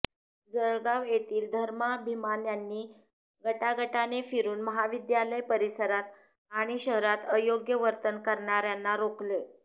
जळगाव येथील धर्माभिमान्यांनी गटागटाने फिरून महाविद्यालय परिसरात आणि शहरात अयोग्य वर्तन करणार्यांना रोखले